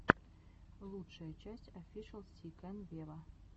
лучшая часть офишел си кэн вево